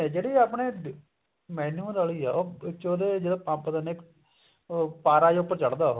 ਜਿਹੜੀ ਆਪਣੇ manual ਆਲੀ ਵਿੱਚ ਉਹਦੇ ਜਿਹੜਾ ਪੰਪ ਦਿੰਦੇ ਨੇ ਉਹ ਪਾਰਾ ਜਾ ਉੱਪਰ ਚੜਦਾ ਉਹ